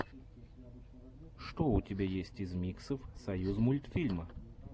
что у тебя есть из миксов союзмультфильма